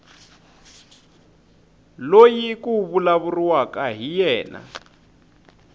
loyi ku vulavuriwaka hi yena